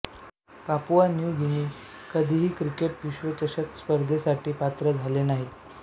Papua New Guinea कधीही cricket विश्वचषक स्पर्धेसाठी पात्र झाले नाही